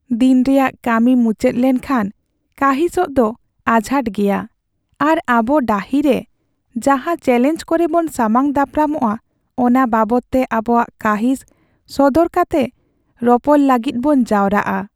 ᱫᱤᱱ ᱨᱮᱭᱟᱜ ᱠᱟᱹᱢᱤ ᱢᱩᱪᱟᱹᱫ ᱞᱮᱱᱠᱷᱟᱱ ᱠᱟᱺᱦᱤᱥᱚᱜ ᱫᱚ ᱟᱡᱷᱟᱴ ᱜᱮᱭᱟ, ᱟᱨ ᱟᱵᱚ ᱰᱟᱹᱦᱤᱨᱮ ᱡᱟᱦᱟᱸ ᱪᱮᱹᱞᱮᱧᱡᱽ ᱠᱚᱨᱮᱵᱚᱱ ᱥᱟᱢᱟᱝ ᱫᱟᱯᱨᱟᱢᱟᱜᱼᱟ ᱚᱱᱟ ᱵᱟᱵᱚᱫᱛᱮ ᱟᱵᱚᱣᱟᱜ ᱠᱟᱺᱦᱤᱥ ᱥᱚᱫᱚᱨ ᱠᱟᱛᱮ ᱨᱚᱯᱚᱲ ᱞᱟᱹᱜᱤᱫᱵᱚᱱ ᱡᱟᱣᱨᱟᱜᱼᱟ ᱾